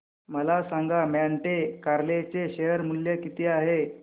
मला सांगा Monte Carlo चे शेअर मूल्य किती आहे